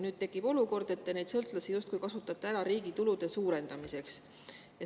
Nüüd tekib olukord, kus te neid sõltlasi justkui kasutate ära riigi tulude suurendamiseks.